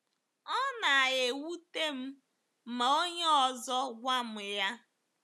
Ọ na-ewute m ma onye ọzọ gwa m ya.”